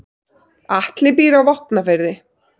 Atli býr á Vopnafirði.